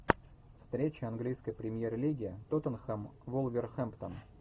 встреча английской премьер лиги тоттенхэм вулверхэмптон